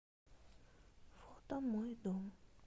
фото мой дом